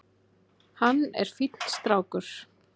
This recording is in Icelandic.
Hann er fínn strákur.